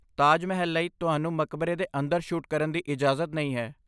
ਤਾਜ ਮਹਿਲ ਲਈ, ਤੁਹਾਨੂੰ ਮਕਬਰੇ ਦੇ ਅੰਦਰ ਸ਼ੂਟ ਕਰਨ ਦੀ ਇਜਾਜ਼ਤ ਨਹੀਂ ਹੈ।